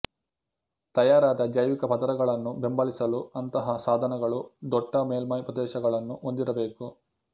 ತಯಾರಾದ ಜೈವಿಕ ಪದರಗಳನ್ನು ಬೆಂಬಲಿಸಲು ಅಂತಹ ಸಾಧನಗಳು ದೊಟ್ಟ ಮೇಲ್ಮೈ ಪ್ರದೇಶಗಳನ್ನು ಹೊಂದಿರಬೇಕು